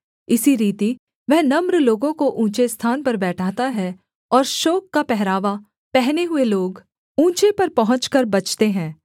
इसी रीति वह नम्र लोगों को ऊँचे स्थान पर बैठाता है और शोक का पहरावा पहने हुए लोग ऊँचे पर पहुँचकर बचते हैं